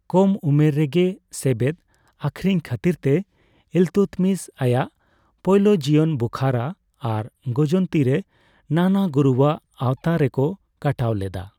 ᱠᱚᱢ ᱩᱢᱮᱨ ᱨᱮᱜᱮ ᱥᱮᱵᱮᱫ ᱟᱹᱠᱷᱨᱤᱧ ᱠᱷᱟᱹᱛᱤᱨ ᱛᱮ ᱤᱞᱛᱩᱛᱢᱤᱥ ᱟᱭᱟᱜ ᱯᱳᱭᱞᱳ ᱡᱤᱭᱚᱱ ᱵᱩᱠᱷᱟᱨᱟ ᱟᱨ ᱜᱚᱡᱚᱱᱛᱤᱨᱮ ᱱᱟᱱᱟ ᱜᱩᱨᱩᱣᱟᱜ ᱟᱣᱛᱟ ᱨᱮᱠᱚ ᱠᱟᱴᱟᱣ ᱞᱮᱫᱟ ᱾